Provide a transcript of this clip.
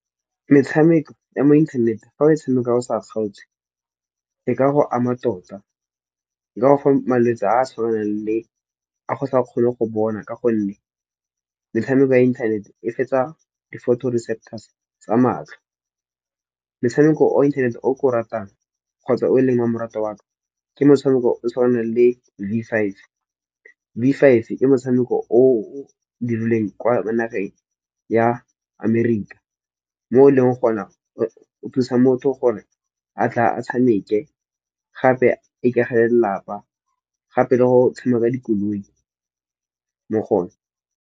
Metshameko ya mo inthanete fa o tshameka o sa kgaotse, e ka go ama tota, e ka go fa malwetse a a tshwanang le a o sa kgone go bona. Ka gonne metshameko ya inthanete e fetsa di photo receptors tsa matlho. Motshameko o inthanete o ke o ratang kgotsa o leng wa moratwa wa ka ke motshameko o o tshwanang le Vfive. Vfive ke motshameko o dirilweng kwa mo nageng ya amerika, mo e leng gona o thusa motho gore a tla a tshameke gape a ikagele lelapa gape le go tshameka dikoloi mo go one.